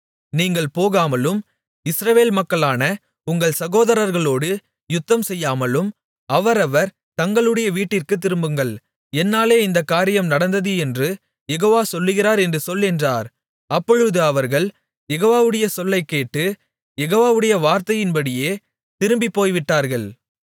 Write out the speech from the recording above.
நீங்கள் போகாமலும் இஸ்ரவேல் மக்களான உங்கள் சகோதரர்களோடு யுத்தம்செய்யாமலும் அவரவர் தங்களுடைய வீட்டிற்குத் திரும்புங்கள் என்னாலே இந்தக் காரியம் நடந்தது என்று யெகோவா சொல்கிறார் என்று சொல் என்றார் அப்பொழுது அவர்கள் யெகோவாவுடைய சொல்லைக் கேட்டு யெகோவாவுடைய வார்த்தையின்படியே திரும்பிப் போய்விட்டார்கள்